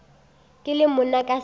ke le monna ka se